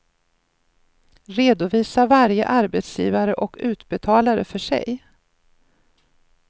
Redovisa varje arbetsgivare och utbetalare för sig.